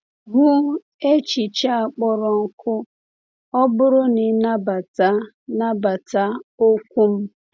Hụ echiche a kpọrọ nkọ “ọ bụrụ na i nabata nabata okwu m.”